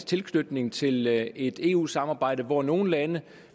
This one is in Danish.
tilknytning til et eu samarbejde hvor nogle lande